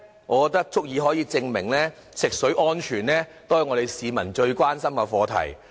我認為足以證明，食水安全是我們市民最關心的課題。